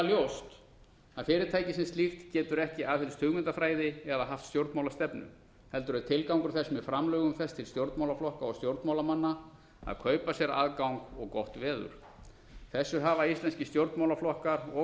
ljóst að fyrirtækið sem slíkt getur ekki aðhyllst hugmyndafræði eða haft stjórnmálastefnu heldur er tilgangur þess með framlögum þess til stjórnmálaflokka og stjórnmálamanna að kaupa sér aðgang og gott veður þessu hafa íslenskir stjórnmálaflokkar og